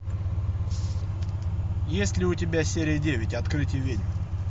есть ли у тебя серия девять открытие ведьм